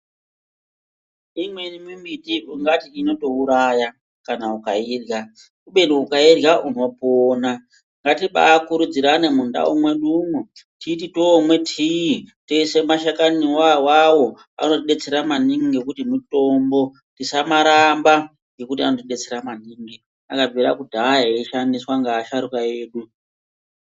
Imweni mimbiti ungati inotouraya kana ukairya kubeni ukairya unopona. Ngatibaakurudzirane munharaunda mwedumwo kuti patinomwa tii toise mashakani ona awawo ngekuti mutombo, tisamaramba ngekuti akabvira kudhaya eishandiswa ngeasharuka edu.